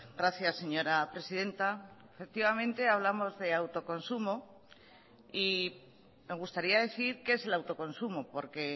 gracias señora presidenta efectivamente hablamos de autoconsumo y me gustaría decir qué es el autoconsumo porque